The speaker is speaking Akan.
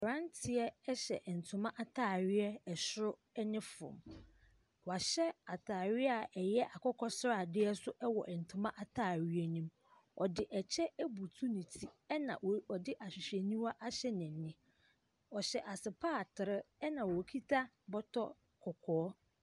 Abranteɛ ɛhyɛ ntoma ataadeɛ ɛsoro ne fam. Wɔahyɛ ataareɛ a ɛyɛ akokɔ sradeɛ ɛwɔ ntoma ataareɛ no mu. Ɔde ɛkyɛ ebutu ne ti ɛna ɔde ahwehwɛniwa ahyɛ n'ani. Ɔhyɛ asopatre ɛna ɔkuta bɔtɔ kɔkɔɔ.